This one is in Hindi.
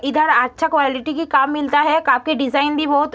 इधर आच्छा क्वाय्लिटी की काप मिलता है। का की डिजाइन भी बहोत --